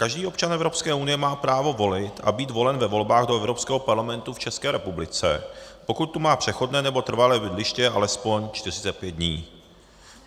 Každý občan Evropské unie má právo volit a být volen ve volbách do Evropského parlamentu v České republice, pokud tu má přechodné nebo trvalé bydliště alespoň 45 dní.